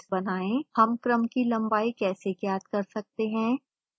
2 हम क्रम की लंबाई कैसे ज्ञात कर सकते हैं